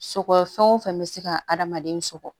Sɔgɔ fɛn o fɛn bɛ se ka adamaden sɔgɔ